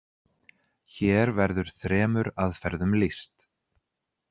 Hér verður þremur aðferðum lýst.